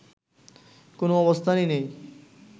কোনও অবস্থানই নেই